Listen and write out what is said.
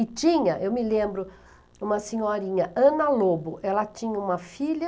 E tinha, eu me lembro, uma senhorinha, Ana Lobo, ela tinha uma filha.